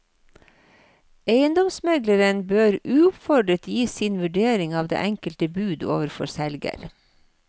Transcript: Eiendomsmegleren bør uoppfordret gi sin vurdering av det enkelte bud overfor selger.